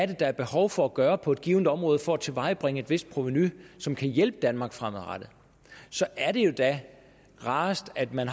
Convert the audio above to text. der er behov for at gøre på et givet område for at tilvejebringe et vist provenu som kan hjælpe danmark fremadrettet så er det jo da rarest at man